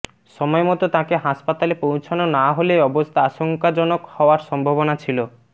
সময় মতো তাঁকে হাসপাতালে পৌঁছানো না হলে অবস্থা আশঙ্কাজনক হওয়ার সম্ভাবনা ছিল